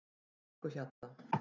Brekkuhjalla